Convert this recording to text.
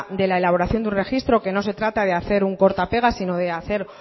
de la elaboración de un registro que no se trata de hacer un corta pega sino de hacer